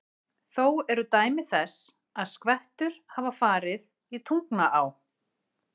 Þó eru dæmi þess, að skvettur hafa farið í Tungnaá.